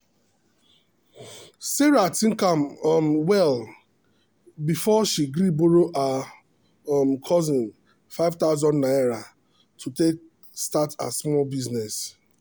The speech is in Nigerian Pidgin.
sarah think am um well before she gree borrow her um cousin ₦5000 to take start her small business.